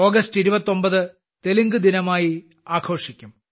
August 29 തെലുങ്ക്ദിനമായി ആഘോഷിക്കും